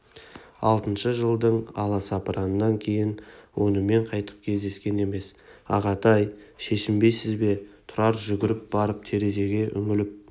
алтыншы жылдың аласапыранынан кейін онымен қайтып кездескен емес ағатай шешінбейсіз бе тұрар жүгіріп барып терезеге үңіліп